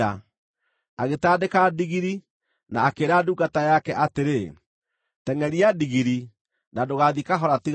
Agĩtandĩka ndigiri, na akĩĩra ndungata yake atĩrĩ, “Tengʼeria ndigiri, na ndũgaathiĩ kahora tiga ngwĩrire.”